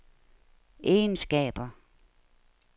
egenskaber